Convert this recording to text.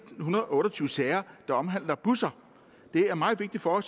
hundrede og otte og tyve sager der omhandler busser det er meget vigtigt for